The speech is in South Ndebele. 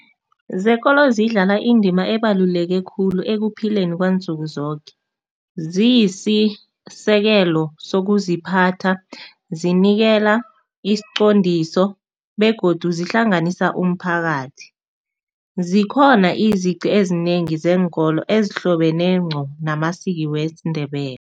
Zekolo zidlala indima ebaluleke khulu ekuphileni kwansuku zoke. Ziyisisekelo sokuziphatha, zinikela isiqondiso begodu zihlanganisa umphakathi. Zikhona izici ezinengi zeenkolo ezihlobene ngqo namasiki wesiNdebele.